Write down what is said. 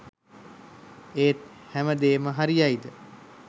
ඒත් හැම දේම හරියයිද